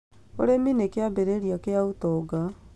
Ũrĩmi nĩ kĩambĩrĩria kĩa ũtonga